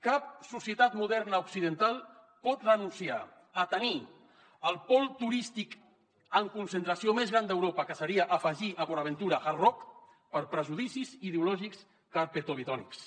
cap societat moderna occidental pot renunciar a tenir el pol turístic en concentració més gran d’europa que seria afegir a port aventura hard rock per prejudicis ideològics carpetovetònics